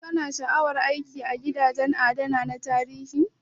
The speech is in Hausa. Ka na sha'awar aiki a gidajen adana tarihi?